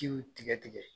Jiw tigɛ tigɛ